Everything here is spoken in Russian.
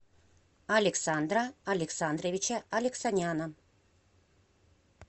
александра александровича алексаняна